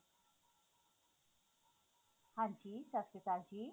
ਹਾਂਜੀ ਸਤਿ ਸ਼੍ਰੀ ਅਕਾਲ ਜ਼ੀ